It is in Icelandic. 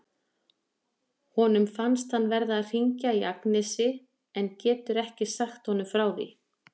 Honum finnst hann verða að hringja í Agnesi en getur ekki sagt honum frá því.